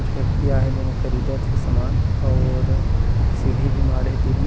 कुछ व्यक्ति आ हे जेन ह ख़रीदत हे सामान और एक सीढ़ी भी माढ़े तीर में --